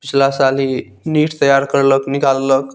पिछला साल ही नीट तैयार करलक निकाल लक।